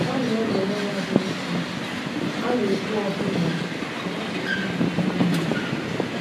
A na-ewere ya dị nsọ, a na-ekwu ọbụna na ọ bụ ihe ịrịba ama.